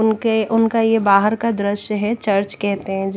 उनके उनका ये बाहर का दृश्य है चर्च कहते हैं।